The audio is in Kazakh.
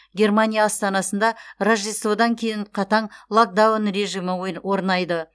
германия астанасында рождестводан кейін қатаң локдаун режимі орнайды